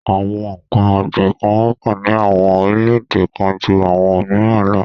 Àwọn n̄ǹkan ọ̀gbìn kan wọ́pọ̀ ní àwọn orílẹ̀-èdè kan ju àwọn òmìrán lọ.